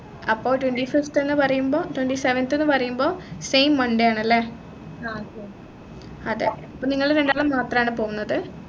അപ്പൊ twenty fifth ന്നു പറയുമ്പോ twenty seventh ന്നു പറയുമ്പോ same monday ആണല്ലേ അതെ അപ്പൊ നിങ്ങള് രണ്ടാളും മാത്രമാണോ പോകുന്നത്